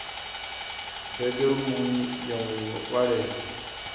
bege rumuni ya u vhalela